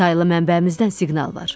Otaylı mənbəmizdən siqnal var.